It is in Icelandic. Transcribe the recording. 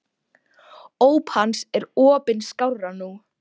Óp hans er opin skárra nú.